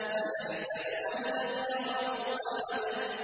أَيَحْسَبُ أَن لَّمْ يَرَهُ أَحَدٌ